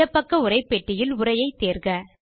இடப் பக்க உரைப்பெட்டியில் உரையை தேர்க